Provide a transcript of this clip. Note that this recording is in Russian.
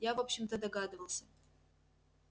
я в общем-то догадывался